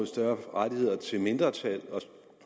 større rettigheder til mindretal